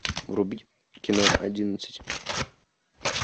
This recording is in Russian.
врубить кино одиннадцать